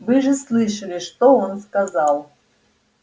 вы же слышали что он сказал